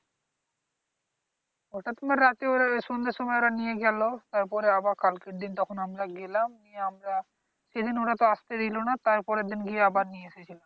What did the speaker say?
ওটা তোমার রাতে ওরা সন্ধার সময় ওরা নিয়ে গেল। তারপরে আবার কালকের দিন তখন আমরা গেলাম গিয়ে আমরা এদিন ওরা তো আসতে দিল না। তারপরের দিন গিয়ে আবার নিয়ে এসেছিলাম।